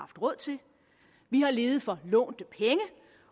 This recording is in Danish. råd til vi har levet for lånte penge